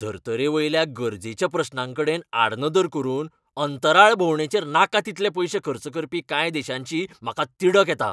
धर्तरेवयल्या गरजेच्या प्रस्नांकडेनआडनदर करून अंतराळ भोवंडेचेर नाका तितले पयशे खर्च करपी कांय देशांची म्हाका तिडक येता.